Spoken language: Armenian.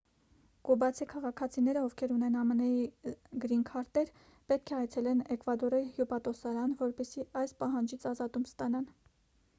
կուբացի քաղաքացիները ովքեր ունեն ամն-ի գրինքարտեր պետք է այցելեն էկվադորի հյուպատոսարան որպեսզի այս պահանջից ազատում ստանան